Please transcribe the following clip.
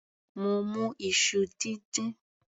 Mo mu iṣu díndín.